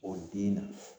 O den na